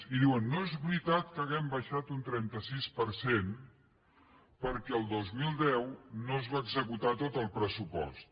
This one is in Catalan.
i diuen no és veritat que hàgim baixat un trenta sis per cent perquè el dos mil deu no es va executar tot el pressupost